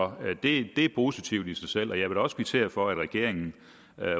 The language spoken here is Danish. det er positivt i sig selv jeg vil da også kvittere for at regeringen